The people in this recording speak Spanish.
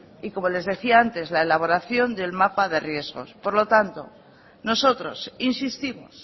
y como les decía antes la elaboración del mapa de riesgos por lo tanto nosotros insistimos